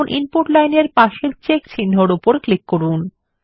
এখন input line এর পাশের চেক চিহ্নর উপর ক্লিক করুন